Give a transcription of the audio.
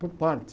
Por partes.